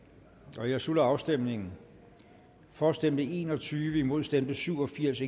jeg slutter afstemningen for stemte en og tyve imod stemte syv og firs